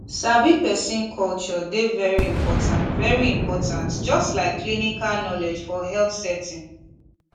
sabi person culture dey very important very important just like clinical knowledge for health setting